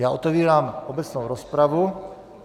Já otevírám obecnou rozpravu.